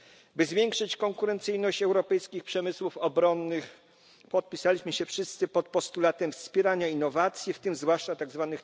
By zwiększyć konkurencyjność europejskich przemysłów obronnych, podpisaliśmy się wszyscy pod postulatem wspierania innowacji, w tym zwłaszcza tzw.